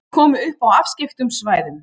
Þeir komu upp á afskekktum svæðum.